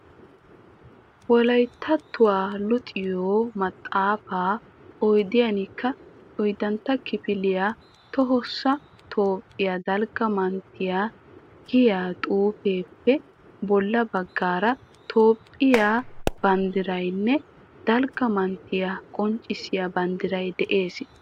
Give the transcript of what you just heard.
Wolayttattuwa luxettiyo maxaafaa oyddantta kifiliya tohossa toophphiya dalgga manttiya giya xuufiyappe bolla baggaara toophphiya banddiraynne dalgga manttiya qonccissiya banddiray de'ees